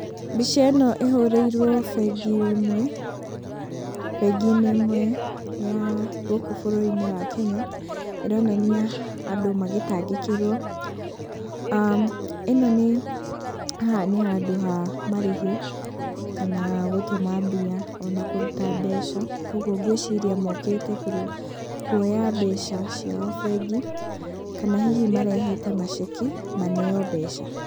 Mbica ĩno ĩhũrĩirwo bengi-inĩ ĩmwe, bengi-inĩ ĩmwe ya gũkũ bũrũri-inĩ wa Kenya, ĩronania andũ magĩtangĩkĩrwo, ĩno nĩ, haha nĩ handũ ha marĩhi kana gũtũma mbia ona kũruta mbeca, koguo mgwĩciria mokite kuoya mbeca ciao bengi, kana hihi marehete maceki, maneo mbeca.